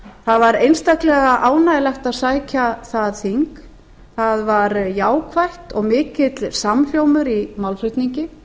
það var einstaklega ánægjulegt að sækja það þing það var jákvætt og mikill samhljómur í málflutningi